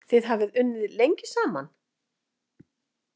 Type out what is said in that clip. Þið hafið unnið lengi saman?